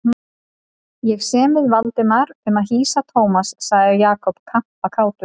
Ég sem við Valdimar um að hýsa Thomas sagði Jakob kampakátur.